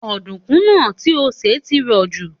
Ọ̀dùnkún náà ti o sè ti rọ̀ jù